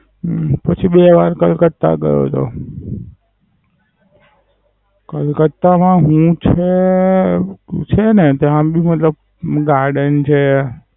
હમ હું શું બે વાર કલકત્તા ગયો તો. કલકત્તા માં હુ છે હું છેને ત્યાં મતલબ Garden છે.